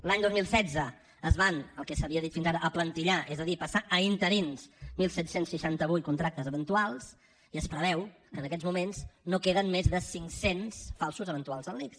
l’any dos mil setze es van el que s’havia dit fins ara aplantillar és a dir passar a interins disset seixanta vuit contractes eventuals i es preveu que en aquests moments no queden més de cinc cents falsos eventuals en l’ics